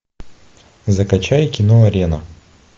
закачай кино арена